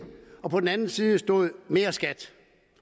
og på den ene side står der mere skat